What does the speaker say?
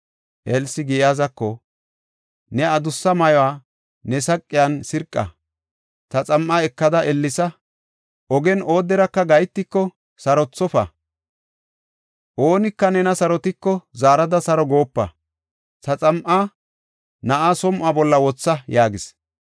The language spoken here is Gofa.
Elsi Giyaazako, “Ne adussa ma7uwa ne saqiyan sirqa; ta xam7a ekada ellesa. Ogen ooderaka gahetiko, sarothofa; oonika nena sarotiko, zaarada saro goopa. Ta xam7a na7aa som7uwa bolla wotha” yaagis.